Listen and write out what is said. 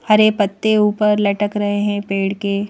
हरे पत्ते ऊपर लटक रहे हैं पेड़ के--